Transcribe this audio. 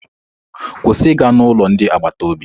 Kwụsị ịga n'ụlọ ndị agbata obi!